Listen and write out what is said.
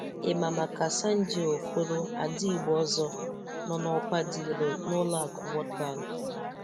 Ị ma maka Sandie Okoro ada Igbo ọzọ nọ n’ọkwa dị elu na-ụlọ aku World Bank?